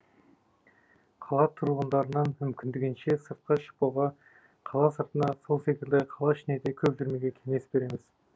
қала тұрғындарынан мүмкіндігінше сыртқа шықпауға қала сыртына сол секілді қала ішіне де көп жүрмеуге кеңес береміз